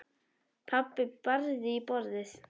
Pabbi barði í borðið.